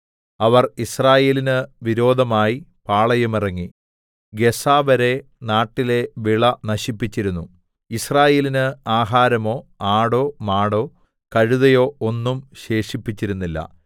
അവർ യിസ്രയേലിന് വിരോധമായി പാളയമിറങ്ങി ഗസ്സാവരെ നാട്ടിലെ വിള നശിപ്പിച്ചിരുന്നു യിസ്രായേലിന് ആഹാരമോ ആടോ മാടോ കഴുതയോ ഒന്നും ശേഷിപ്പിച്ചിരുന്നില്ല